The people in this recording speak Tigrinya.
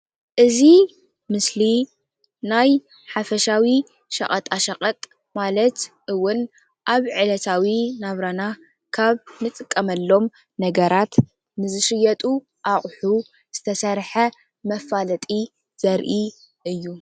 እዚ ምስሊ ናይ ሓፈሻዊ ሸቅጣሸቀጥ ማለት እዉን ኣብ ዕለታዊ ናብራና ካብ ንጥቀመሎም ነገራት ንዝሽየጡ ኣቁሑ ዝተሰርሐ መፋለጢ ዘርኢ እዩ።